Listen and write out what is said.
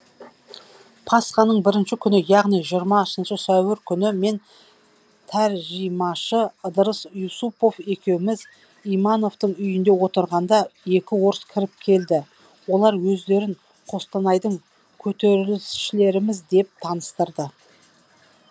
пасханың бірінші күні яғни жиырмасыншы сәуір күні мен тәржімашы ыдырыс иусупов екеуміз имановтың үйінде отырғанда екі орыс кіріп келді олар өздерін қостанайдың көтерілісшілеріміз деп таныстырды